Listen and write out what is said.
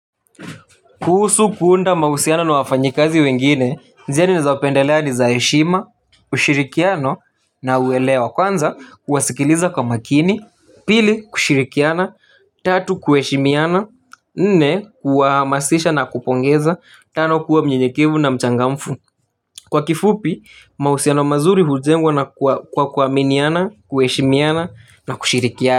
Kuhusu kuunda mahusiano na wafanyikazi wengine njia nizaopendelea ni za heshima ushirikiano na uwelewa kwanza kuwasikiliza kwa makini pili kushirikiana tatu kuheshimiana nne kuwahamasisha na kupongeza tano kuwa mnyenyekevu na mchangamfu kwa kifupi mahusiano mazuri hujengwa na kwa kuaminiana kuheshimiana na kushirikiana.